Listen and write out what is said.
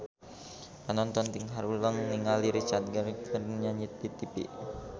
Panonton ting haruleng ningali Richard Gere keur nyanyi di tipi